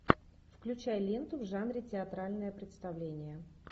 включай ленту в жанре театральное представление